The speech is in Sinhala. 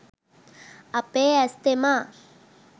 අපේ ඇස් තෙමා